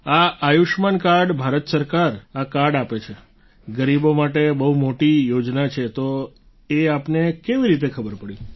આ આયુષ્યમાન કાર્ડ ભારત સરકાર આ કાર્ડ આપે છે ગરીબો માટે બહુ મોટી યોજના છે તો એ આપને કેવી રીતે ખબર પડી